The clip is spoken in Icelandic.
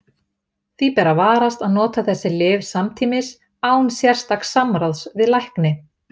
Því ber að varast að nota þessi lyf samtímis án sérstaks samráðs við lækni.